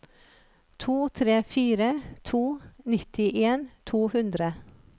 to tre fire to nittien to hundre